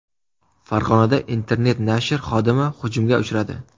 Farg‘onada internet-nashr xodimi hujumga uchradi.